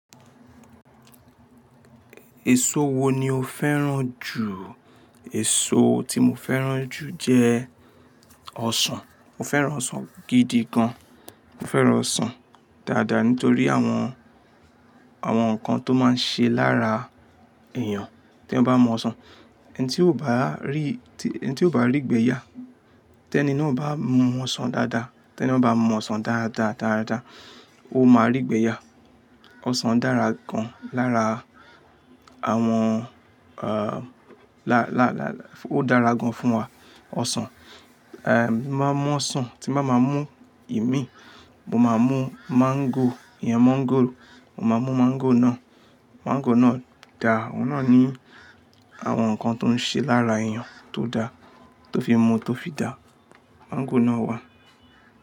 Èso wo ni o fẹ́ràn jù? Èso tí mo fẹ́ràn jù jẹ ọsàn. Mo fẹ́ràn ọsàn gidi gan. Mo fẹ́ràn ọsàn dáadáa nítorí àwọn, àwọn nǹkan tó máa ń ṣe lára èèyàn te yan bá mú ọsàn. Ẹni tí ó bá rí, tí, ẹni tí ó bá rí ìgbẹ́ yá, tẹ́ni náà bá mú ọsàn dáadáa, tẹ́ni náà bá mú ọsàn dáadáa, dáadáa, ó máa rí ìgbẹ́ yá. Ọsàn dára gan lára àwọn, ah, lá, lá, lá, ó dára gan fún wa ọsàn. Mo máa mú ọsàn, tí n bá ma mú ìmí, mo máa mú mango, ìyen mọ́ngòrò. Mo máa mú mango náà, mango náà dà, ọ̀un na ní àwọn nǹkan tó ń ṣe lára èèyàn tó dà, tó fi mú tó fi dà. Mango náà wà.